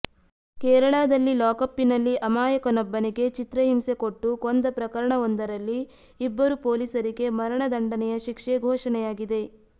ಕೇರಳದಲ್ಲಿ ಲಾಕಪ್ಪಿನಲ್ಲಿ ಅಮಾಯಕನೊಬ್ಬನಿಗೆ ಚಿತ್ರಹಿಂಸೆ ಕೊಟ್ಟು ಕೊಂದ ಪ್ರಕರಣವೊಂದರಲ್ಲಿ ಇಬ್ಬರು ಪೊಲೀಸರಿಗೆ ಮರಣದಂಡನೆಯ ಶಿಕ್ಷೆ ಘೋಷಣೆಯಾಗಿದೆ